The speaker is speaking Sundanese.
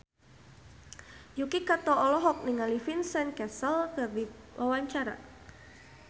Yuki Kato olohok ningali Vincent Cassel keur diwawancara